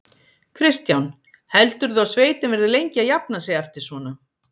Kristján: Heldurðu að sveitin verði lengi að jafna sig eftir svona?